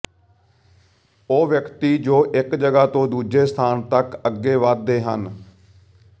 ਉਹ ਵਿਅਕਤੀ ਜੋ ਇੱਕ ਜਗ੍ਹਾ ਤੋਂ ਦੂਜੇ ਸਥਾਨ ਤੱਕ ਅੱਗੇ ਵਧਦੇ ਹਨ